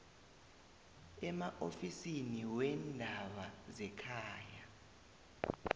emaofisini weendaba zekhaya